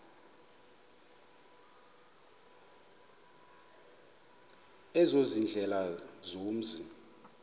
ezo ziindlela zomzi